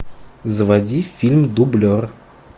заводи фильм дублер